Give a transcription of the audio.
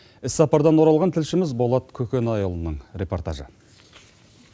іс сапардан оралған тілшіміз болат көкенайұлының репортажы